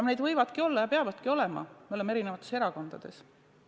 Need võivad olla ja peavadki olema – me oleme eri erakondades.